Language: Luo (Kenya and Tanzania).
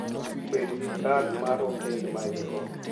Bed gi kad mar hotel ma in-go.